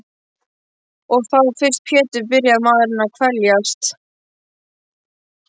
Og þá fyrst Pétur byrjar maðurinn að kveljast.